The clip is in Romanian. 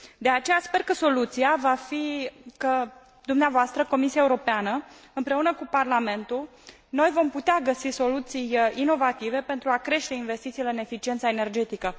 De aceea, sper că soluția va fi că dumneavoastră, Comisia Europeană, împreună cu Parlamentul, vom putea găsi soluții inovative pentru a crește investițiile în eficiența energetică.